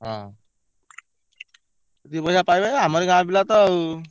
ହଁ ଦି ପଇସା ପାଇବେ ଆମରି ଗାଁ ପିଲା ତ ଆଉ।